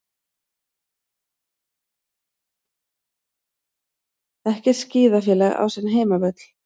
Ekkert skíðafélag á sinn heimavöll